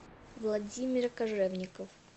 владимир кожевников